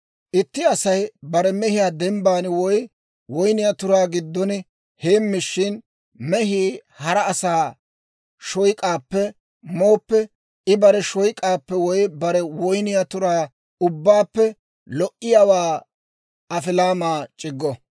«Itti Asay bare mehiyaa dembban woy woyniyaa turaa giddon heemmishin, mehii hara asaa shoyk'aappe mooppe, I bare shoyk'aappe woy bare woyniyaa turaa ubbaappe lo"iyaawaa afilaamaa c'iggo.